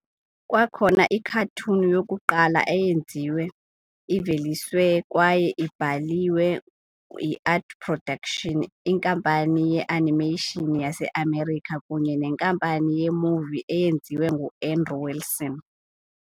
Kwakhona i-cartoon yokuqala eyenziwe, iveliswe kwaye ibhaliwe yi-Artwork Productions, inkampani ye-animation yase-America kunye nenkampani ye-movie eyenziwe ngu-Andrew Wilson.